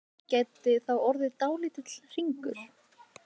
Úr þessu gæti þá orðið dálítill hringur.